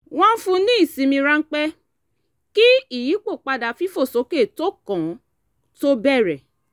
wọ́n fún ní ìsinmi ráńpẹ́ kí ìyípo fífòsókè tó kàn tó bẹ̀rẹ̀